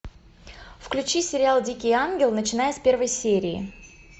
включи сериал дикий ангел начиная с первой серии